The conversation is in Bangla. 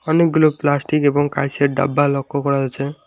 অনেকগুলো প্লাস্টিক এবং কাঁইচের ডাব্বা লক্ষ্য করা যাচ্ছে।